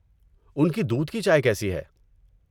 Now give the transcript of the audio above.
ان کی دودھ کی چائے کیسی ہے؟